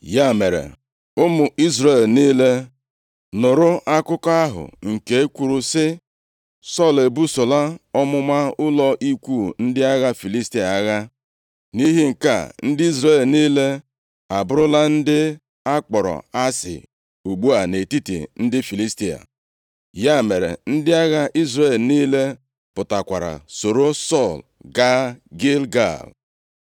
Ya mere, ụmụ Izrel niile nụrụ akụkọ ahụ nke kwuru sị, “Sọl ebusola ọmụma ụlọ ikwu ndị agha Filistia agha, nʼihi nke a, ndị Izrel niile abụrụla ndị a kpọrọ asị ugbu a nʼetiti ndị Filistia.” Ya mere, ndị agha Izrel niile pụtakwara soro Sọl gaa Gilgal.